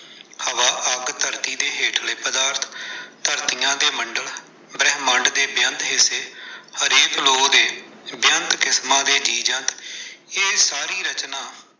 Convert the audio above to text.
ਹਵਾ, ਅੱਗ, ਧਰਤੇ ਦੇ ਹੇਠਲੇ ਪਦਾਰਥ, ਧਰਤੀਆਂ ਦੇ ਮੰਡਲ, ਬ੍ਰਹਿਮੰਡ ਦੇ ਬੇਅੰਤ ਹਿੱਸੇ, ਹਰੇਕ ਲੋਕ ਦੇ ਬੇਅੰਤ ਕਿਸਮਾਂ ਦੇ ਜੀਵ-ਜੰਤ। ਇਹ ਸਾਰੀ ਰਚਨਾ।